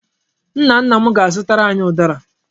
Nna nna m ga-azụtara anyị ụdara.